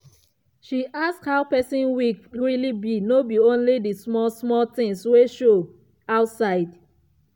she ask how person week really be no be only the small small things wey show outside.